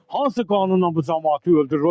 Hansı qanunla bu camaatı öldürür?